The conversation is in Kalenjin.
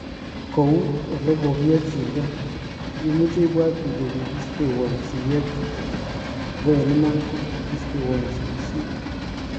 Koun ele kokiyochindo, imuche ibwat ile kikistewon siyet kityo ako eng iman ko kikistewon sikishet.